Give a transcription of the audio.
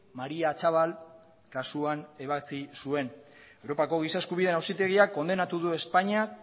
mari atxabal kasuan ebatzi zuen europako giza eskubideen auzitegiak kondenatu du espainia